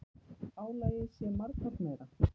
Álagið sé margfalt meira.